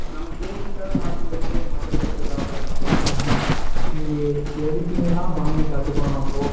gaming க்காக மாத்தும்போது, மத்தபடி எல்லாம், இது ஆகாத ஆஹான். நீங்க editing எல்லாம் பண்ணி கத்துக்கணும்.